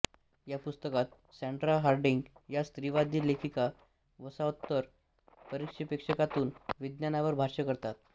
या पुस्तकात Sandra Harding या स्त्रीवादी लेखिका वसाहतोत्तर परिपेक्ष्यातून विज्ञानावर भाष्य करतात